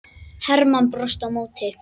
Hermann brosti á móti.